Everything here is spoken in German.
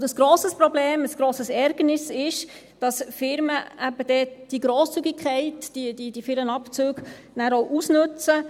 Ein grosses Problem, ein grosses Ärgernis ist, dass Firmen eben dort diese Grosszügigkeit, diese vielen Abzüge, dann auch ausnützen.